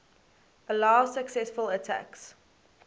allow successful attacks